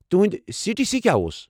تُہنٛدۍ C T C کیٚا اوس؟